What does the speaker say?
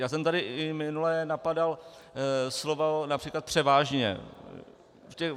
Já jsem tady i minule napadal slovo například "převážně".